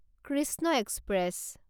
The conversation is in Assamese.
কৃষ্ণ এক্সপ্ৰেছ